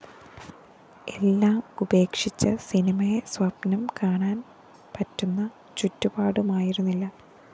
എല്ലാം ഉപേക്ഷിച്ച് സിനിമയെ സ്വപ്‌നം കാണാന്‍ പറ്റുന്ന ചുറ്റുപാടുമായിരുന്നില്ല